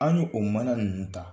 An ye o mana ninnu ta